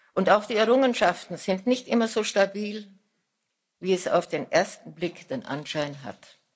Und auch die Errungenschaften sind nicht immer so stabil, wie es auf den ersten Blick den Anschein hat.